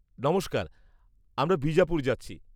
নমস্কার, আমরা বিজাপুর যাচ্ছি।